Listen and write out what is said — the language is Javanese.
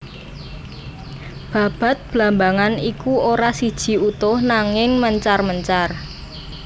Babad blambangan iku ora siji utuh nangin mencar mencar